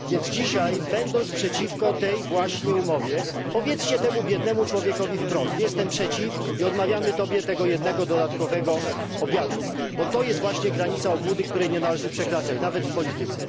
Dzisiaj, będąc więc przeciwko tej właśnie umowie, powiedzcie temu biednemu człowiekowi wprost jestem przeciw i odmawiam tobie tego jednego dodatkowego obiadu. To jest właśnie granica obłudy, której nie należy przekraczać, nawet w polityce.